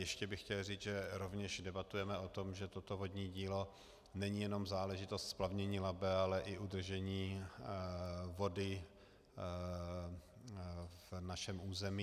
Ještě bych chtěl říct, že rovněž debatujeme o tom, že toto vodní dílo není jenom záležitost splavnění Labe, ale i udržení vody na našem území.